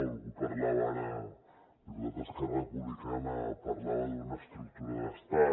algú parlava ara el diputat d’esquerra republicana d’una estructura d’estat